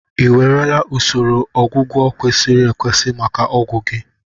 Ị ewerela usoro ọgwụgwọ kwesịrị ekwesị maka ọgwụ gi?